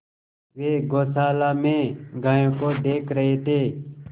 वे गौशाला में गायों को देख रहे थे